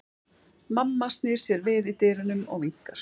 Mamma snýr sér við í dyrunum og vinkar.